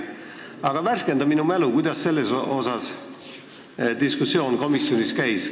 Aga värskenda mu mälu, kuidas selle üle diskussioon komisjonis käis.